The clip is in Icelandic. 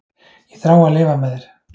Ég þrái að lifa með þér.